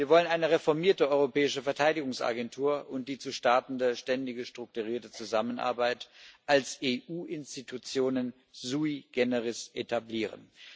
Wir wollen eine reformierte europäische Verteidigungsagentur und die zu startende ständige strukturierte Zusammenarbeit als EU Institutionen sui generis etablieren.